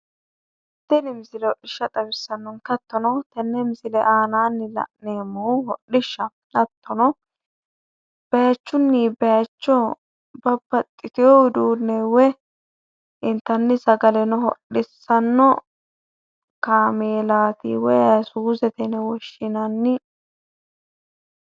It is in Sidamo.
Tini misile hodhishsha xawisannonke. Hattono tenne misile aanaanni la'neemmohu hodhishshaho. Hattono bayiichunni bayiicho babbaxxiteyo udeenne woyi intanni sagaleno hodhissanno kameelaati woyi ayisuusete yine woshshinanni.